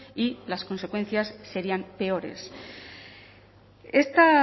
y las consecuencias serían peores esta